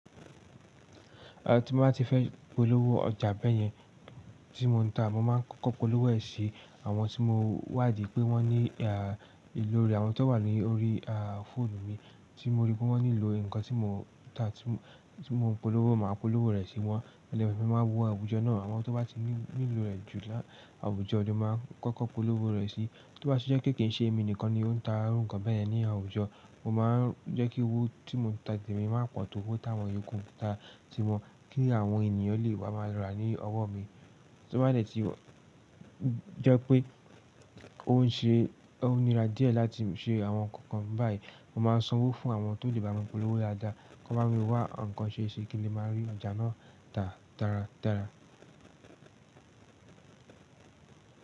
À tí mo bá ti fẹ́ polówó ọjà bẹ̀yẹn tí mò ń tà, mo máa kọ́kọ́ polówó ẹ̀ sí àwọn tí mo wàdí pé wọ́n ní à ìlò rẹ̀, àwọn tó wà lórí à fóònù mi tí mo ríi pé wọ́n nílò nǹkan tí mò ń tà, tí mo polówó, màá polówó rẹ̀ sí wọ́n lẹ́yìn náà ni mo máa wo àwùjọ náà, àwọn tó bá ti nílò rẹ̀ jù láà àwùjọ ni mo máa kọ́kọ́ polówó rẹ̀ sí. Tó bá ṣe jẹ pé kì í ṣe èmi nìkan ni ó ń ta nǹkan bẹyẹn ní àwùjọ, mo máa ń jẹ́ kí owó tí mò ń ta temi má pọ̀ tó owó táwọn iyooku ń ta tí wọ́n kí àwọn ènìyàn lè wá máa lọ rà ní ọwọ́ mi. Tí ó bá dẹ̀ tí jẹ́ pé òún ṣe, o nira díẹ̀ láti ṣe àwọn nǹkan báyìí, mo máa san owó fún àwọn tó lè bá mi polówó dáadáa, kọ́ bá mi wá nǹkan ṣe ṣi kí n le máa rí ọjà náà tà dáradára.